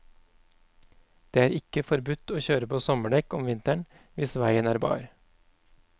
Det er ikke forbudt å kjøre på sommerdekk om vinteren hvis veien er bar.